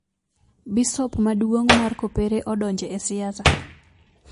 Bisop maduong mar kopere odonje e siasa